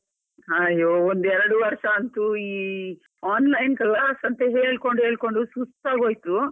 ಅಯ್ಯೋ, ಒಂದ್ ಎರಡ್ ವರ್ಷ ಅಂತೂ ಈ online class ಅಂತ ಹೇಳ್ಕೊಂಡು ಹೇಳ್ಕೊಂಡು ಸುಸ್ತಾಗ್ ಹೋಯ್ತು.